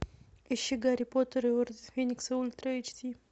ищи гарри поттер и орден феникса ультра эйч ди